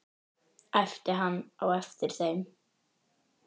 æpti hann á eftir þeim.